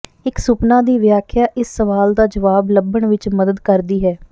ਇੱਕ ਸੁਪਨਾ ਦੀ ਵਿਆਖਿਆ ਇਸ ਸਵਾਲ ਦਾ ਜਵਾਬ ਲੱਭਣ ਵਿੱਚ ਮਦਦ ਕਰਦੀ ਹੈ